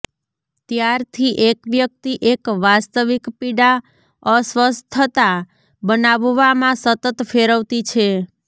ત્યારથી એક વ્યક્તિ એક વાસ્તવિક પીડા અસ્વસ્થતા બનાવવામાં સતત ફેરવતી છે